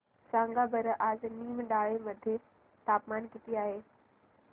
सांगा बरं आज निमडाळे मध्ये तापमान किती आहे